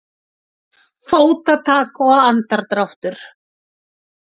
Fótatak og andardráttur.